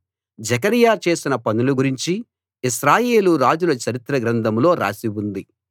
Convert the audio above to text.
జెకర్యా చేసిన పనులు గురించి ఇశ్రాయేలు రాజుల చరిత్ర గ్రంథంలో రాసి ఉంది